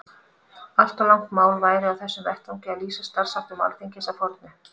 Allt of langt mál væri á þessum vettvangi að lýsa starfsháttum Alþingis að fornu.